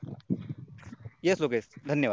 Yes Lokesh धन्यवाद